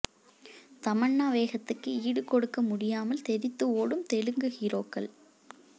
தமன்னா வேகத்துக்கு ஈடு கொடுக்க முடியாமல் தெறித்து ஓடும் தெலுங்கு ஹீரோக்கள்